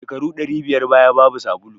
Shekaru ɗari biyar baya babu sabulu